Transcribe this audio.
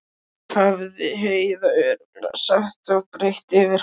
hefði Heiða örugglega sagt og breitt yfir hann.